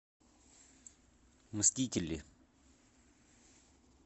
мстители